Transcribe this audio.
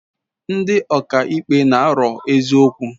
Ndi ọka ikpe n'aro eziokwu